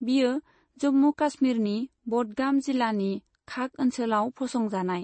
बियो जम्मु कश्मीरनि बडगाम जिलानि खाग ओनसोलाव फसंजानाय।